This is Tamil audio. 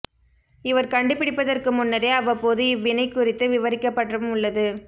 இவர் கண்டுபிடிப்பதற்கு முன்னரே அவ்வப்போது இவ்வினை குறித்து விவரிக்கப்பட்டும் உள்ளது